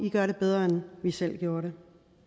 i gør det bedre end vi selv gjorde det